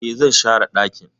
E, zan share dakin.